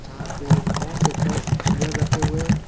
यहां पे नौ से दस चेयर रखे हुए हैं।